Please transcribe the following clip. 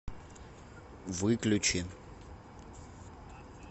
выключи